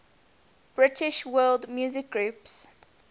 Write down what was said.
british world music groups